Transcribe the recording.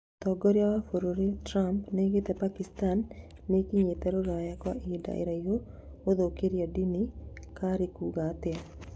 Mũtongoria wa bũrũri Trump nĩoigĩte Pakistan nĩkinyĩte Rũraya kwa ihinda iraya gũthũkĩrĩria, dini karĩkuga atĩa?